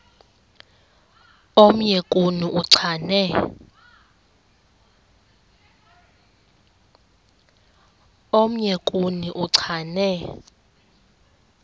omnye kuni uchane